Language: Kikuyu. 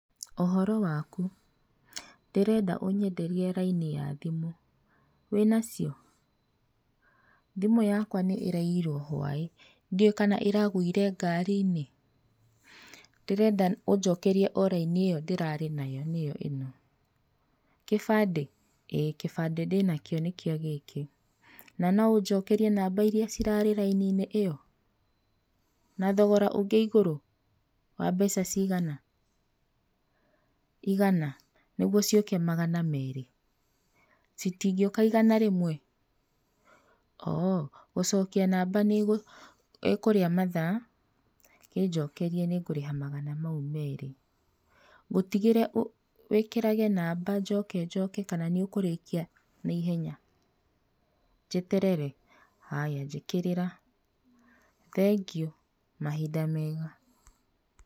Ũhoro waku? Ndĩrenda ũnyenderie raini ya thimũ, wĩnacio? Thimũ yakwa nĩ ĩraiyirwo hwaĩ ndiũe kana ĩragũire ngari-inĩ. Ndĩrenda ũnjokerie o raini ĩyo ndĩrarĩ nayo nĩyo ĩno, kĩbandĩ? ĩĩ kĩbandĩ ndĩnakio nĩkĩo gĩkĩ. Na no ũnjokerie namba iria cirarĩ raini-inĩ ĩyo? Na thogora ũngĩ igũrũ, wa mbeca cigana? Igana? nĩguo ciũke magana merĩ, citingĩũka igana rĩmwe? hoo gũcokia namba ĩkũria mathaa? kĩnjokerie nĩngũrĩha magana mau merĩ. Ngũtigĩre wĩkĩrage namba njoke njoke kana nĩũkũrĩkia na ihenya? Njeterere? Haya njĩkĩrĩra, thengiũ mahinda mega.